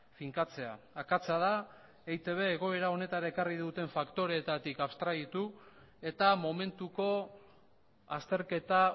finkatzea akatsa da eitb egoera honetara ekarri duten faktoreetatik abstraitu eta momentuko azterketa